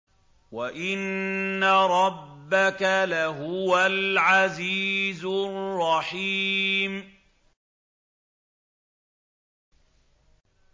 وَإِنَّ رَبَّكَ لَهُوَ الْعَزِيزُ الرَّحِيمُ